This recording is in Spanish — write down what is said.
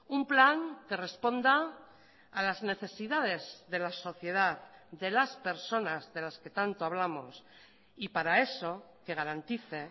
un plan que responda a las necesidades de la sociedad de las personas de las que tanto hablamos y para eso que garantice